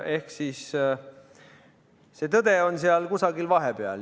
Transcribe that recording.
Ehk siis tõde on kusagil vahepeal.